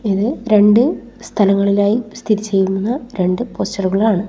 ഇത് രണ്ട് സ്ഥലങ്ങളിലായി സ്ഥിതി ചെയ്യുന്ന രണ്ട് പോസ്റ്ററുകളാണ് .